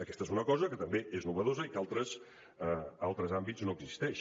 aquesta és una cosa que també és innovadora i que en altres àmbits no existeix